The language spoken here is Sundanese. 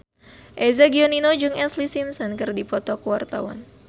Eza Gionino jeung Ashlee Simpson keur dipoto ku wartawan